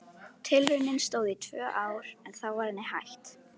Tilraunin stóð í tvö ár en þá var henni hætt.